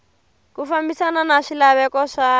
ku fambisana na swilaveko swa